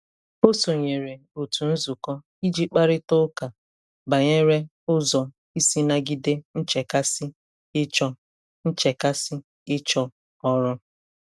Ọ sonyeere otu nzukọ iji kparịta ụka banyere ụzọ isi nagide nchekasị ịchọ nchekasị ịchọ ọrụ.